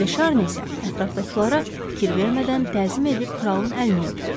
De Şarni isə ətrafdakılara fikir vermədən təzim edib kralın əlini öpdü.